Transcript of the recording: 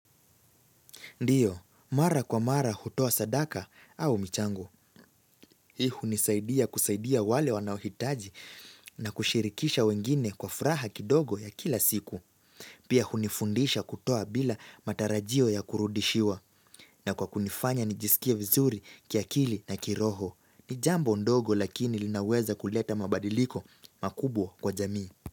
Ndiyo, mara kwa mara hutoa sadaka au michango. Hii hunisaidia kusaidia wale wanaohitaji na kushirikisha wengine kwa furaha kidogo ya kila siku. Pia hunifundisha kutoa bila matarajio ya kurudishiwa. Na kwa kunifanya nijisikie vizuri kia kili na kiroho. Nijambo ndogo lakini linaweza kuleta mabadiliko makubwa kwa jamii.